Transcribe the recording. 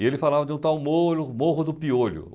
E ele falava de um tal moro Morro do Piolho.